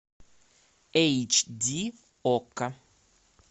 эйч ди окко